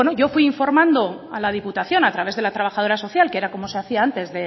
yo fui informando a la diputación a través de la trabajadora social que era como se hacía antes